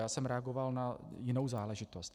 Já jsem reagoval na jinou záležitost.